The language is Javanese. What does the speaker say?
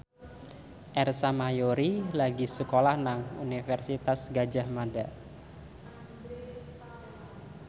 Ersa Mayori lagi sekolah nang Universitas Gadjah Mada